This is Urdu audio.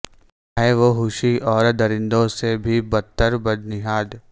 ہیں وہ وحشی اور درندوں سے بھی بدتر بدنہاد